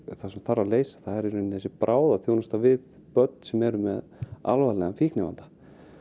það sem þarf að leysa er bráðaþjónusta við börn sem eru með alvarlega fíknivanda